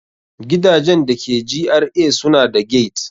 Gidajen da ke GRA suna da gate.